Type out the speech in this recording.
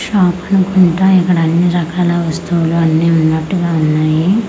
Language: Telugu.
షాప్ అనుకుంటా ఇక్కడ అన్ని రకాల వస్తువులు అన్ని ఉన్నట్టుగా ఉన్నాయి.